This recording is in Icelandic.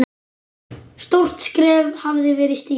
Stórt skref hafði verið stigið.